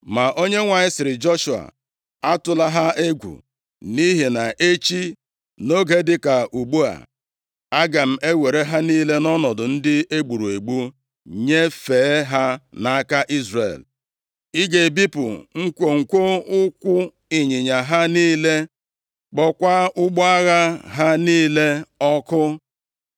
Ma Onyenwe anyị sịrị Joshua, “Atụla ha egwu, nʼihi na echi, nʼoge dịka ugbu a, aga m ewere ha niile nʼọnọdụ ndị egburu egbu nyefee ha nʼaka Izrel. Ị ga-ebipụ nkwonkwo ụkwụ ịnyịnya ha niile, kpọọkwa ụgbọ agha ha niile ọkụ.”